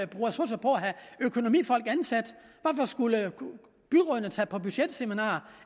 bruge ressourcer på at have økonomifolk ansat hvorfor skulle byrådene tage på budgetseminar